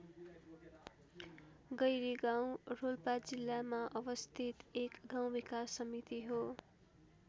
गैरीगाउँ रोल्पा जिल्लामा अवस्थित एक गाउँ विकास समिति हो।